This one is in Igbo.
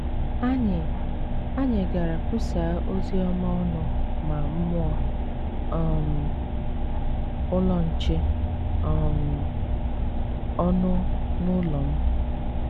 Anyị Anyị gara kwusaa ozi ọma ọnụ ma mụọ um Ụlọ Nche um ọnụ n’ụlọ m.